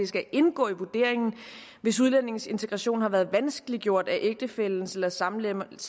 skal indgå i vurderingen hvis udlændingens integration har været vanskeliggjort af ægtefællens eller samleverens